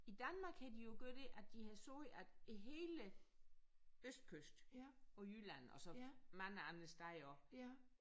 I Danmark havde de jo gøre det at de havde sagt at hele østkysten og Jylland og så mange andre steder også